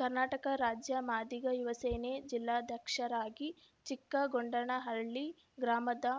ಕರ್ನಾಟಕ ರಾಜ್ಯ ಮಾದಿಗ ಯುವಸೇನೆ ಜಿಲ್ಲಾಧ್ಯಕ್ಷರಾಗಿ ಚಿಕ್ಕಗೊಂಡನಹಳ್ಳಿ ಗ್ರಾಮದ